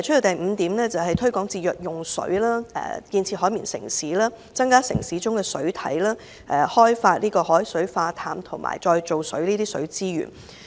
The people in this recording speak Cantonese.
第五項建議是推廣節約用水、建設"海綿城市"、增加城市中的水體、開發海水化淡和再造水的水資源。